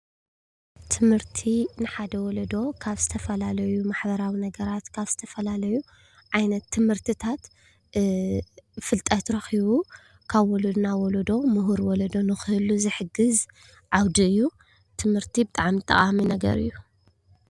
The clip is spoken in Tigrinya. ትምህርቲ ንሓደ ወሎዶ ካብ ዝተፈላለዩ ማሕበራዊ ነገራት ካብ ዝተፈላለዩ ዓይነት ትምህርትታት ፍልጠት ረኺቡ ካብ ወለዶ ናብ ወለዶ ሙሁር ወሎዶ ንክህሉ ዝሕግዝ ዓውዲ እዩ። ትምህርቲ ብጣዕሚ ጠቃሚ ነገር እዩ።